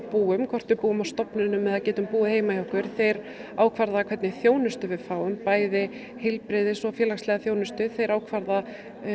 búum hvort við búum á stofnunum eða getum búið heima hjá okkur þeir ákvarða hvernig þjónustu við fáum bæði heilbrigðis og félagslega þjónustu þeir ákvarða